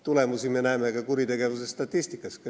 Tulemusi me näeme ka kuritegevuse statistikas.